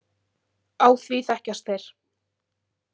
Á því þekkjast þeir.